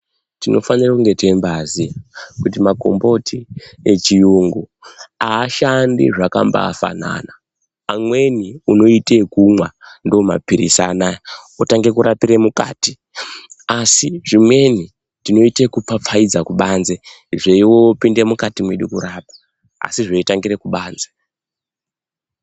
Tinofanira kumge teimbaaziya kuti makomboti echiyungu ashandi zvakambaafanana , amweni unoite kumwa ndomapirisi anaya otange kurapire mukati asi zvimweni tinoite kupfapfaidza kubanze zvopinde mukati mwedu kurapa asi zvaitangira kubanze.